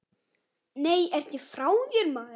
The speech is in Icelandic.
Nei, ertu frá þér, maður.